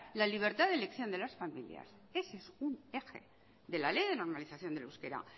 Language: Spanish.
la libertad de elección de las familias ese es un eje de la ley de normalización del uso del euskera